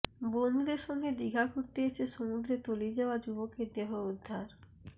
বন্ধুদের সঙ্গে দিঘা ঘুরতে এসে সমুদ্রে তলিয়ে যাওয়া যুবকের দেহ উদ্ধার